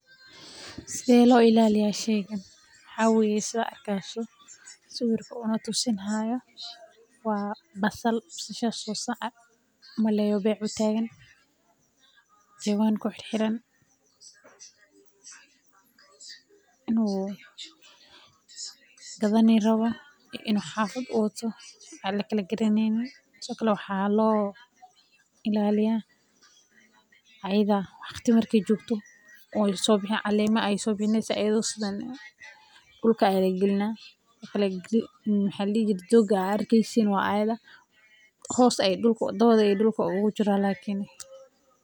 sawirka waa basal beec utagan jawan kuxiran inu gadan rawo ama xafada uwato waxa loilaliya marka waqti jogto calemo sobixasa dhulka lagelina dhoga arkisin waa ayaeda dawada dhulka ugu jira